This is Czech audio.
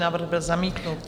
Návrh byl zamítnut.